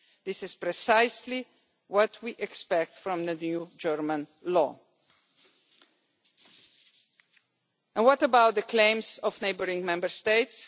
This is precisely what we expect from the new German law. And what about the claims made by neighbouring Member States?